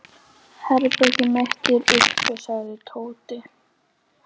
Herbergið mitt er uppi sagði Tóti.